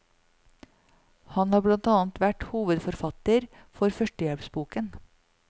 Han har blant annet vært hovedforfatter for førstehjelpsboken.